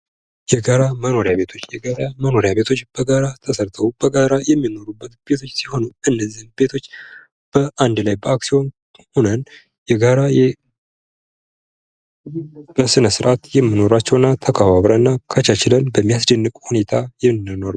የጋራ መኖሪያ ቤቶች በጋራ ተሠርተው በጋራ የሚኖሩበት ቤት ሲሆኑ ፤ እነዚህን ቤቶች በአንድ ላይ በአክሲዮን የሆነን የጋራ በሥነ ሥርዓት የሚኖራቸው እና ተከባብረውና ተቻችለው በሚያስደነግጥ ሁኔታ ምንኖር ነው።